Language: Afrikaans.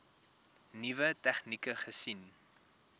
nuwe tegnieke gesien